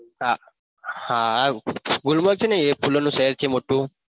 હા હા ગુલમર છે ન ગુલમર્ગ ફૂલોનું શહેર છે મોટું